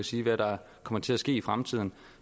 sige hvad der kommer til at ske i fremtiden